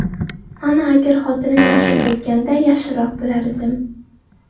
Mana agar xotinim yaxshi bo‘lganida yaxshiroq bo‘lardim.